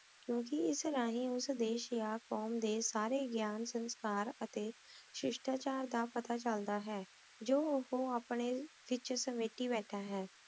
ਕ੍ਯੂ ਕੇ ਏਸ ਰਹੀ ਉਸ ਏਸ਼ ਦਯਾ ਕ਼ੋਉਮ ਦੇ ਸਾਰੇ ਗਾਯਨ ਅਤੀ ਸ਼ਿਸ਼੍ਥਾ ਚਾਰ ਦਾ ਪਤਾ ਚਲਦਾ ਹੈ ਜੋ ਓਹੋ ਅਪਨੇ ਵਿਚ ਸਮੀਤੀ ਬੇਤਹਾ ਹੈ